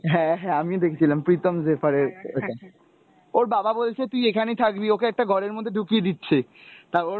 হ্যাঁ হ্যাঁ, আমিও দেখেছিলাম প্রীতম জেফার এর ওটা ওর বাবা বলছে তুই এখানে থাকবি, ওকে একটা ঘরের মধ্যে ঢুকিয়ে দিচ্ছে তা ওর